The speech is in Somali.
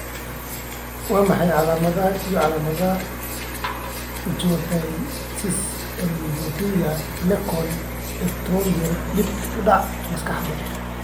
Waa maxay calaamadaha iyo calaamadaha Ichthyosis alopecia eclabion ectropion dib u dhac maskaxeed?